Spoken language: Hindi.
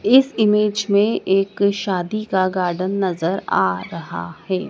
इस इमेज में एक शादी का गार्डन नजर आ रहा हैं।